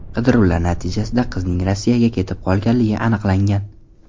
Qidiruvlar natijasida qizning Rossiyaga ketib qolganligi aniqlangan.